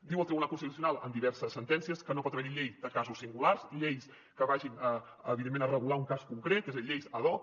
diu el tribunal constitucional en diverses sentències que no pot haverhi llei de casos singulars lleis que vagin evidentment a regular un cas concret és a dir lleis ad hoc